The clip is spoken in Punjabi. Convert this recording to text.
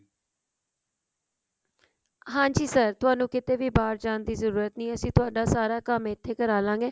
ਹਾਂਜੀ sir ਤੁਹਾਨੂੰ ਕਿਤੇ ਵੀ ਬਾਹਰ ਜਾਣ ਦੀ ਜਰੂਰਤ ਨਹੀ ਹੈ ਅਸੀਂ ਤੁਹਾਡਾ ਸਾਰਾ ਕੰਮ ਇੱਥੇ ਕਰ ਲਵਾਂਗੇ